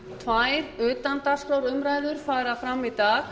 tvær utandagskrárumræður fara fram í dag